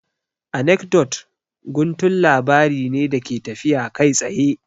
Anekdot guntun labari ne da ke tafiya kai tsaye